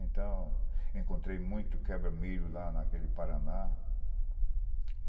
Então, encontrei muito quebra-milho lá naquele Paraná.